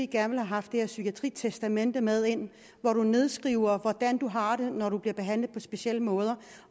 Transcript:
gerne have haft det her psykiatritestamente med ind hvori man nedskriver hvordan man har det når man bliver behandlet på specielle måder